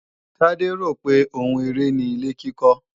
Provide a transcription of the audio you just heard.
Tade rò pé oun eré ni ilé-kíkọ́